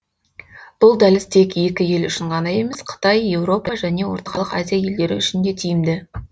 бұл дәліз тек екі ел үшін ғана емес қытай еуропа және орталық азия елдері үшін де тиімді